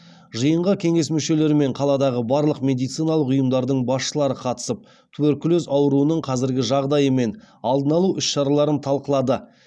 жиынға кеңес мүшелері мен қаладағы барлық медициналық ұйымдардың басшылары қатысып туберкулез ауруының қазіргі жағдайы мен алдын алу іс шараларын талқылады